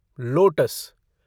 lotus